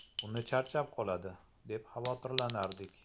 Uni charchab qoladi, deb xavotirlanardik.